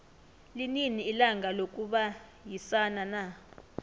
linini ilanga lokubayisana na